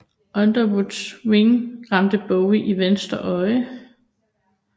Underwoods ring ramte Bowie i venstre øje